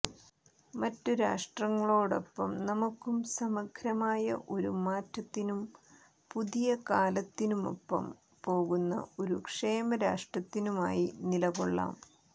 മറ്റു രാഷ്ട്രങ്ങളോടൊപ്പം നമുക്കും സമഗ്രമായ ഒരു മാറ്റത്തിനും പുതിയ കാലത്തിനൊപ്പം പോകുന്ന ഒരു ക്ഷേമരാഷ്ട്രത്തിനുമായി നിലകൊള്ളാം